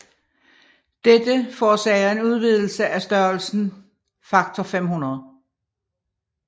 Dette forårsager en udvidelse af størrelsen faktor 500